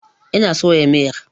Ina soya miyar.